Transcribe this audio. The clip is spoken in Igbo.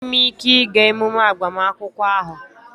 Enweghị m ike ịga emume agbamakwụkwọ ahụ